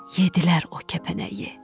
yedilər o kəpənəyi.